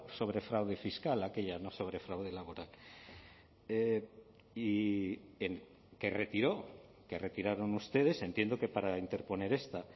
sobre fraude fiscal aquella no sobre fraude laboral y que retiró que retiraron ustedes entiendo que para interponer esta